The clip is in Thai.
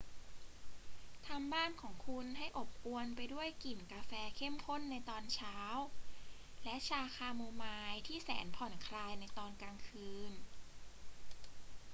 ทำบ้านของคุณให้อบอวลไปด้วยกลิ่นกาแฟเข้มข้นในตอนเช้า และชาคาโมไมล์ที่แสนผ่อนคลายในตอนกลางคืน